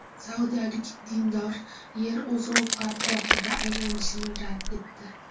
Saudiyalik dindor Yer o‘z o‘qi atrofida aylanishini rad etdi.